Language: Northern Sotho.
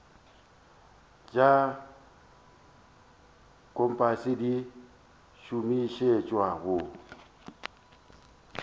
tša kompase di šomišetšwa go